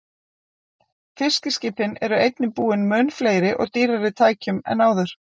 Fiskiskipin eru einnig búin mun fleiri og dýrari tækjum en áður.